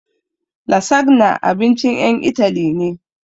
Lasagna abincin ƴan Itali ne